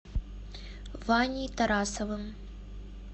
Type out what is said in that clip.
ваней тарасовым